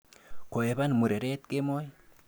Kohepan mureret kemoi.